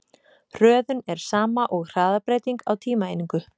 Hröðun er sama og hraðabreyting á tímaeiningu.